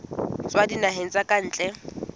tswa dinaheng tsa ka ntle